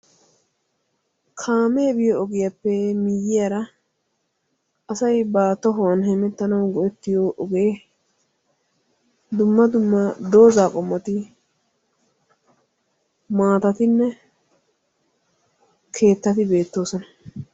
Kaamee biyo ogiyappe miyyyiyara asayi ba tohuwan hemettanawu go'ettiyo ogee dumma dumma dooza qommoti maatatinne keettati beettoosona.